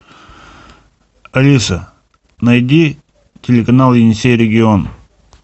алиса найди телеканал енисей регион